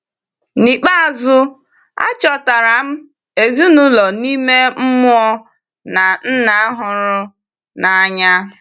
N’ikpeazụ, achọtara m ezinụlọ ime mmụọ na Nna hụrụ n’anya!